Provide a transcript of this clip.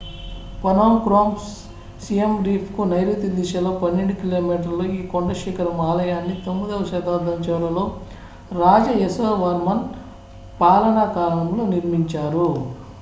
Phnom Krom Siem Reap కు నైరుతి దిశలో 12 కి.మీ ఈ కొండ శిఖరం ఆలయాన్ని 9వ శతాబ్దం చివరలో రాజ యసోవర్మన్ పాలనా కాలంలో నిర్మించారు